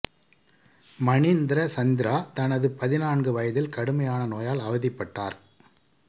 மணிந்திர சந்திரா தனது பதினான்கு வயதில் கடுமையான நோயால் அவதிப்பட்டார்